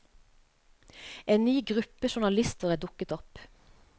En ny gruppe journalister er dukket opp.